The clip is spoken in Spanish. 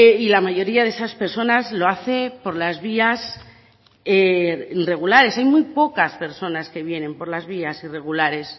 y la mayoría de esas personas lo hace por las vías regulares hay muy pocas personas que vienen por las vías irregulares